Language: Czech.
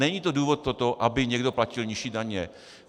Není to důvod toto, aby někdo platil nižší daně.